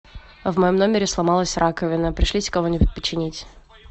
в моем номере сломалась раковина пришлите кого нибудь починить